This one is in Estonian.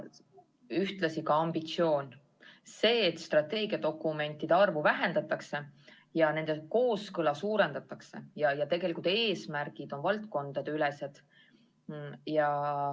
Ja ühtlasi ambitsioon, see, et strateegiadokumentide arvu vähendatakse ja nende kooskõla suurendatakse ja eesmärgid on valdkondadeülesed.